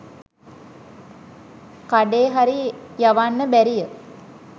කඩේ හරි යවන්න බැරිය